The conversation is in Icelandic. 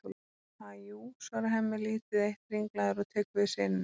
Ha, jú, svarar Hemmi lítið eitt ringlaður og tekur við syninum.